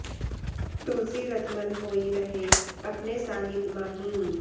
तुलसी रत मन होइ रहै अपने साहिब माहिं